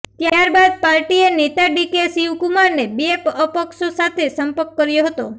ત્યાર બાદ પાર્ટીએ નેતા ડી કે શિવકુમારને બે અપક્ષો સાથે સંપર્ક કર્યો હતો